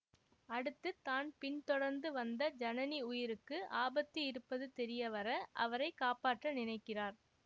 அடுத்து தான் பின் தொடர்ந்து வந்த ஜனனி உயிருக்கு ஆபத்து இருப்பது தெரியவர அவரை காப்பாற்ற நினைக்கிறார்